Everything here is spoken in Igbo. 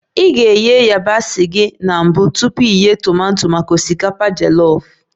Ị ga-eghe yabasị gị na mbụ tupu ị ghee tomato maka osikapa jolof